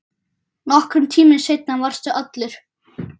Nokkrum tímum seinna varstu allur.